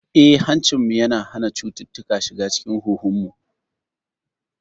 Eh, hancinmu yana hana cututtuka shiga cikin huhunmu.